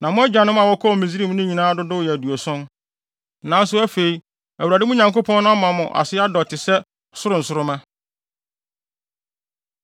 Na mo agyanom a wɔkɔɔ Misraim no nyinaa dodow yɛ aduɔson. Nanso afei, Awurade, mo Nyankopɔn no ama mo ase adɔ te sɛ soro nsoromma.